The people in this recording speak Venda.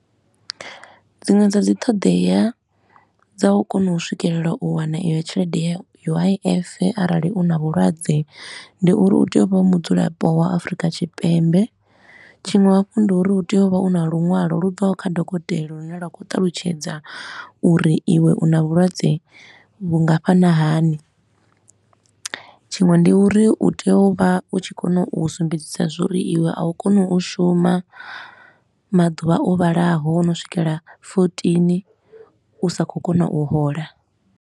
Dziṅwe dza dzi ṱhoḓea dza u kona u swikelela u wana iyo tshelede ya U_I_F arali u na vhulwadze ndi uri u tea u vha u mudzulapo wa Afrika Tshipembe, tshiṅwe hafhu ndi uri hu tea u vha u na lunwalo lu bvaho kha dokotela lune lwa khou ṱalutshedza uri iwe u na vhulwadze vhungafhana hani. Tshiṅwe ndi uri u tea u vha u tshi kona u sumbedza zwa uri iwe a u koni u shuma maḓuvha o vhalaho o no swikela fourteen u sa khou kona u hola.